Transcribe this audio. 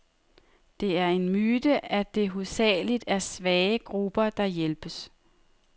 Det er en myte, at det hovedsageligt er svage grupper, der hjælpes.